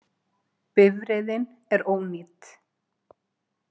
Bifreiðin er ónýt